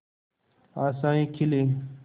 आशाएं खिले